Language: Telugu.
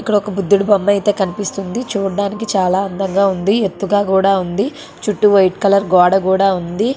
ఇక్కడ ఒక బుద్దుడి బొమ్మ అయితే కనిపిస్తుంది . చూట్టానికి చాలా అందంగా ఉంది. ఎత్తుగా కూడా ఉంది . చుట్టూ వైట్ కలర్ గోడ కూడా ఉంది.